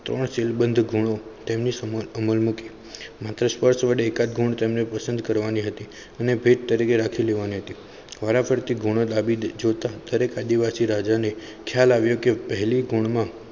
તો સીલબંધ ગુણો તેમને સમળ અમલ મુક્યો માત્ર સ્પર્શ વડે કટગુણ તેમને પસંદ કરવાની હતી અને ભેટ તરીકે રાખી લેવાની હતી વારા ફરતી ગુલાબી જોતા દરેક આદિવાસી રાજાને ખ્યાલ આવ્યો કે પહલી ગુણ.